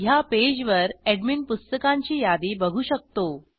ह्या पेजवर एडमिन पुस्तकांची यादी बघू शकतो